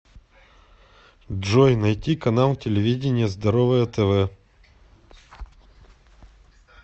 джой найти канал телевидения здоровое тв